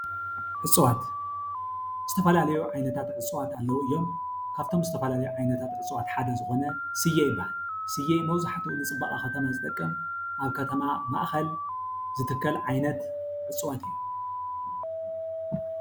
እፅዋት-ዝተፈላለዩ ዓይነታት እፅዋት ኣለዉ እዮም፡፡ ካብቶም ዝተፈላለዩ እፅዋት ሓደ ዝኾነ ስየ ይበሃል፡፡ ስየ መብዛሕትኡ ንፅባቐ ከተማ ዝጠቅም ኣብ ከተማ ማእኸል ዝትከል ዓይነት እፅዋት እዩ፡፡